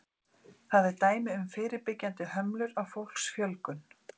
Það er dæmi um fyrirbyggjandi hömlur á fólksfjölgun.